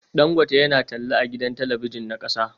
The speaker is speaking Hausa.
Dangote yana talla a gidan talabijin na kasa